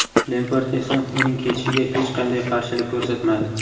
Lempard esa uning ketishiga hech qanday qarshilik ko‘rsatmadi.